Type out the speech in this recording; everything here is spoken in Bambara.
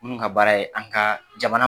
Minnu ka baara ye an ka jamana